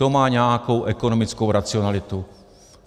To má nějakou ekonomickou racionalitu.